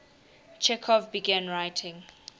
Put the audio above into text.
chekhov began writing